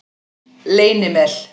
Leynimel